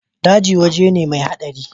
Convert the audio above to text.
Daji waje ne mai hadari.